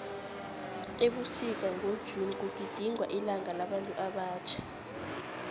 ebusika ngo june kugidingwa ilanga labantu abatjha